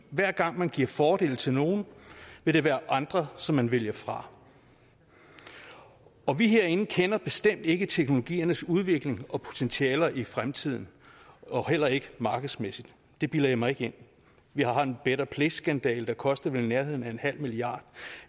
hver gang man giver fordele til nogle vil der være andre som man vælger fra og vi herinde kender bestemt ikke teknologiernes udvikling og potentialer i fremtiden heller ikke markedsmæssigt det bilder jeg mig ikke ind vi har en better place skandale der vel kostede i nærheden af en halv milliard